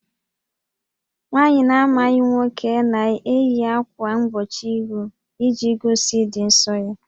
Nwaanyị na-amaghị nwoke na-eyi ákwà mgbochi íhù iji gosi ịdị ǹsọ́ ya